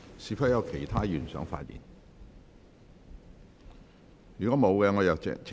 是否有其他議員想發言？